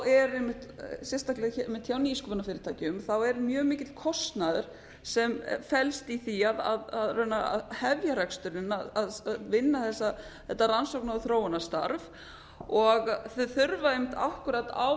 eru einmitt sérstaklega hjá nýsköpunarfyrirtækjum er mjög mikill kostnaður sem felst í því að hefja reksturinn að vinna þetta rannsóknar og þróunarstarf og þau þurfa einmitt akkúrat á